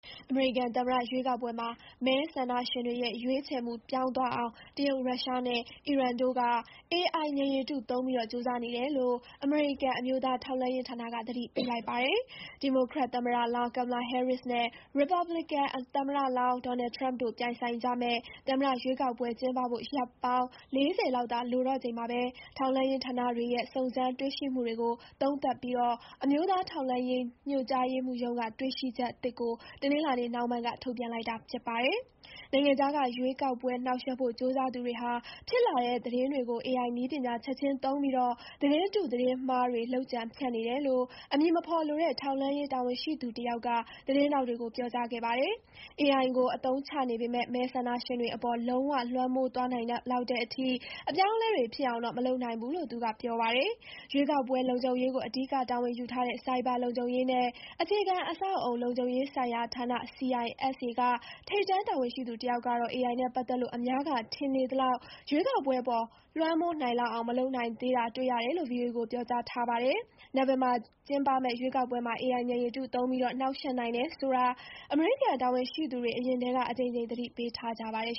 အမေရိကန်သမ္မတရွေးကောက်ပွဲမှာ မဲဆန္ဒရှင်တွေရဲ့ ရွေးချယ်မှု ပြောင်းသွားအောင် တရုတ်၊ ရုရှားနဲ့ အီရန်တို့က AI ဉာဏ်ရည်တုသုံးပြီး ကြိုးစားနေတယ်လို့ အမေရိကန်အမျိုးသားထောက်လှမ်းရေးဌာနက သတိပေးလိုက်ပါတယ်။ ဒီမိုကရက်သမ္မတလောင်း Kamala Harris နဲ့ ရီပတ်ပလစ်ကန် သမ္မတလောင်း Donald Trump တို့ပြိုင်ဆိုင်ကြမယ့် သမ္မတရွေးကောက်ပွဲကျင်းပဖို့ ရက်ပေါင်း ၄၀ လောက်သာ လိုတော့ချိန်မှာ ထောက်လှမ်းရေးဌာနတွေရဲ့ စုံစမ်းတွေ့ရှိမှုတွေကို သုံးသပ်ပြီး အမျိုးသားထောက်လှမ်းရေး ညွှန်ကြားရေးမှူးရုံးက တွေ့ရှိချက်သစ်ကို တနင်္လာနေ့ နှောင်းပိုင်းက ထုတ်ပြန်လိုက်တာဖြစ်ပါတယ်။ နိုင်ငံခြားက ရွေးကောက်ပွဲနှောင့်ယှက်ဖို့ ကြိုးစားသူတွေဟာ ဖြစ်လာတဲ့ သတင်းတွေကို AI နည်းပညာ ချက်ချင်းသုံးပြီး သတင်းတု သတင်းမှားတွေ လုပ်ကြံဖြန့်နေတယ်လို့ အမည်မဖော်လိုတဲ့ ထောက်လှမ်းရေးတာဝန်ရှိသူတယောက်က သတင်းထောက်တွေကို ပြောကြားခဲ့ပါတယ်။ AI ကိုအသုံးချနေပေမဲ့ မဲဆန္ဒရှင်တွေအပေါ် လုံးဝလွှမ်းမိုးသွားနိုင်လောက်တဲ့အထိ အပြောင်းအလဲတွေဖြစ်အောင်တော့ မလုပ်နိုင်သေးဘူးလို့ သူကပြောပါတယ်။ ရွေးကောက်ပွဲ လုံခြုံရေးကို အဓိကတာဝန်ယူထားတဲ့ ဆိုင်ဘာလုံခြုံရေးနဲ့ အခြေခံအဆောက်အအုံ လုံခြုံရေးဆိုင်ရာဌာန CISA က ထိပ်တန်းတာဝန်ရှိသူတယောက်ကတော့ AI နဲ့ပတ်သက်လို့ အများက ထင်နေသလောက် ရွေးကောက်ပွဲအပေါ် လွှမ်းမိုးနိုင်လောက်အောင် မလုပ်နိုင်သေးတာတွေ့ရတယ်လို့ VOA ကပြောကြားထားပါတယ်။ နိုဝင်ဘာကျင်းပမယ့်ရွေးကောက်ပွဲမှာ AI ဉာဏ်ရည်တုသုံးပြီး နှောင့်ယှက်နိုင်တယ်ဆိုတာ အမေရိကန်တာဝန်ရှိသူတွေ အရင်ထဲက အကြိမ်ကြိမ် သတိပေးထားကြပါတယ်